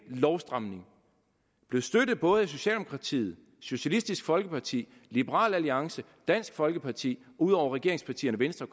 lovstramning og blev støttet af både socialdemokratiet socialistisk folkeparti liberal alliance og dansk folkeparti ud over regeringspartierne venstre